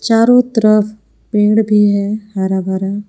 चारो तरफ पेड़ भी है हरा भरा।